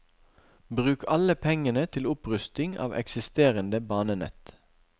Bruk alle pengene til opprustning av eksisterende banenett.